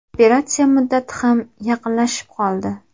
Operatsiya muddati ham yaqinlashib qoldi.